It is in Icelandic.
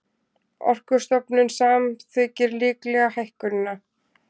Orkustofnun samþykkir líklega hækkunina